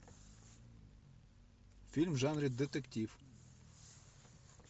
фильм в жанре детектив